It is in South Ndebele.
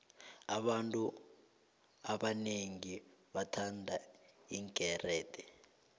abantu abonengi bathanda iinkerede